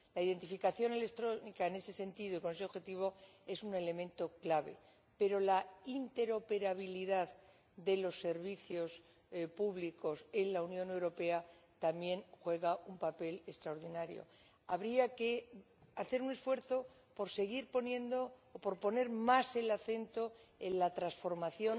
La identificación electrónica en ese sentido y con ese objetivo es un elemento clave, pero la interoperabilidad de los servicios públicos en la Unión Europea también juega un papel extraordinario. Habría que hacer un esfuerzo por seguir poniendo o por poner más el acento en la transformación